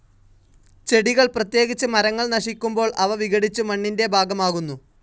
ചെടികൾ, പ്രത്യേകിച്ച് മരങ്ങൾ നശിക്കുമ്പോൾ, അവ വിഘടിച്ചു മണ്ണിൻ്റെ ഭാഗമാകുന്നു.